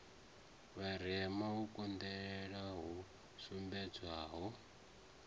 vharema u konḓelela hu sumbedzwaho